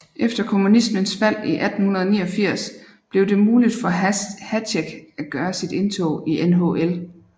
Efter kommunismens fald i 1989 blev det muligt for Hašek at gøre sit indtog i NHL